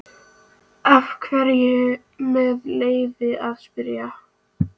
Af hverju, með leyfi að spyrja?